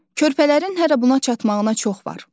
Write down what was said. Körpələrin hələ buna çatmağına çox var.